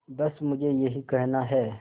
बस मुझे यही कहना है